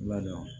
Ladon